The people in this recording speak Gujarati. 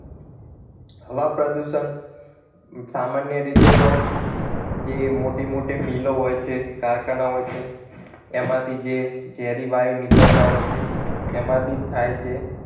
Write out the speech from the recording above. હવા પ્રદુષણ સામાન્ય રીતે તો જે મોટી મોટી મિલો હોય છે કારખાના હોય છે એમાંથી જે ઝેરી વાયુ નીકળતા હોય છે એમાંથી જ થાય છે